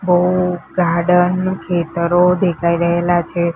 બો ગાર્ડન ખેતરો દેખાય રહેલા છે.